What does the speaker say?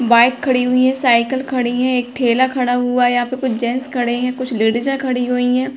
Bike खड़ी हुई है। साइकिल खड़ी है। एक थैला खड़ा हुआ है। यहां पर कुछ जेंट्स खड़े हैं। कुछ लेडीज खड़ी हुई हैं।